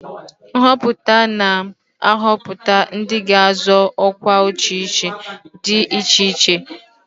Nhọpụta na-ahọpụta ndị ga-azọ ọkwa ọchịchị dị iche iche.